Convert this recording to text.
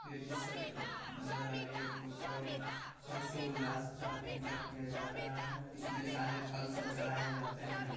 Ladies सब है नज़र आ रही है प्रॉपर हर्षोउल्लास के साथ पूजा किया जा रहा है। इसमे सारे फल सब चढ़ाए जाते हैं।